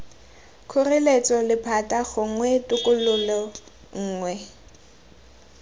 kgoreletso lephata gongwe tokololo nngwe